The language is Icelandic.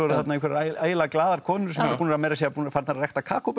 einhverjar ægilega glaðar konur sem eru búnar meira að segja farnar að rækta